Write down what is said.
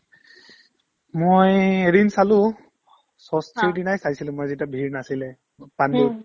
মই এদিন চালো ষষ্ঠীৰ দিনাই চাইছিলো মই যেতিয়া ভিৰ নাছিলে পাণ্ডুত